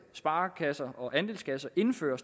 sparekasser og andelskasser indføre